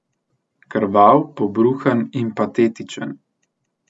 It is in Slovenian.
Krvav, pobruhan in patetičen.